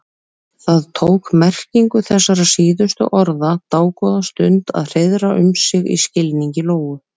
Það tók merkingu þessara síðustu orða dágóða stund að hreiðra um sig í skilningi Lóu.